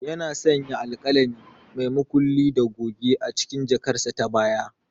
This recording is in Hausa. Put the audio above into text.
Yana sanya alkalami, mai mulki da goge a cikin jakarsa ta baya.